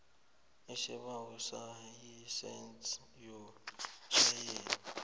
isibawo selayisense yokutjhayela